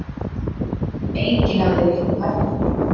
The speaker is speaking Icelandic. Enginn hafði veitt þeim eftirför.